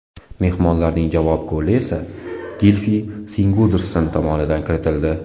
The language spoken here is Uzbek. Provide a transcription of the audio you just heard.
Mehmonlarning javob goli esa Gilfi Sigurdsson tomonidan kiritildi.